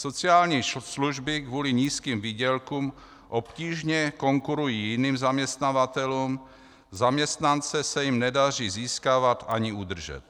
Sociální služby kvůli nízkým výdělkům obtížně konkurují jiným zaměstnavatelům, zaměstnance se jim nedaří získávat ani udržet."